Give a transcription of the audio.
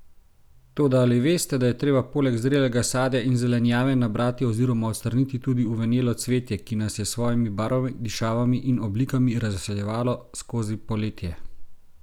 Toda ali veste, da je treba poleg zrelega sadja in zelenjave nabrati oziroma odstraniti tudi uvenelo cvetje, ki nas je s svojimi barvami, dišavami in oblikami razveseljevalo skozi poletje?